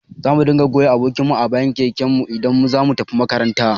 Zamu dinga goya abokin mu a bayan keken mu idan zamu tafi makaranta